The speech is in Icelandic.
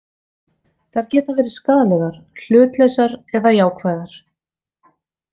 Þær geta verið skaðlegar, hlutlausar eða jákvæðar.